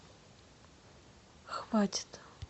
хватит